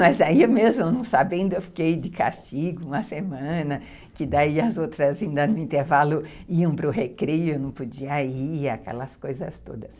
Mas aí mesmo não sabendo, eu fiquei de castigo uma semana, que daí as outras ainda no intervalo iam para o recreio, eu não podia ir, aquelas coisas todas.